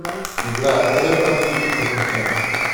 игра эвертон и тоттенхэм